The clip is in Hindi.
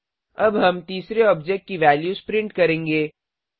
अब हम तीसरे ऑब्जेक्ट की वैल्यूज प्रिंट करेंगे